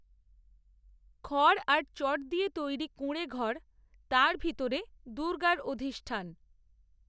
খড়, আর চট দিয়ে তৈরি কূড়েঁঘর, তার ভিতরে দূর্গার অধিষ্ঠান